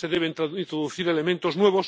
No se deben introducir elementos nuevos